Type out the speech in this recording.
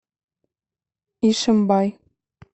ишимбай